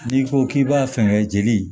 N'i ko k'i b'a fɛngɛ jeli